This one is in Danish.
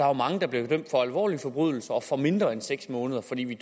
jo mange der bliver dømt for alvorlige forbrydelser får mindre end seks måneder fordi vi